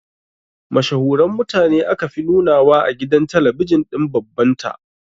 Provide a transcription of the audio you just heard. Mashahuran mutane aka fi nunawa a gidan talabijin din baban ta